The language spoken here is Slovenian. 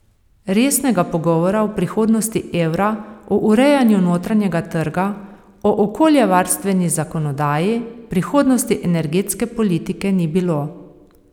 Resnega pogovora o prihodnosti evra, o urejanju notranjega trga, o okoljevarstveni zakonodaji, prihodnosti energetske politike ni bilo.